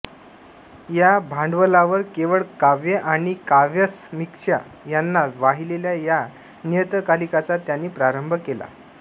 या भांडवलावर केवळ काव्य आणि काव्यसमीक्षा यांना वाहिलेल्या या नियतकालिकाचा त्यांनी प्रारंभ केला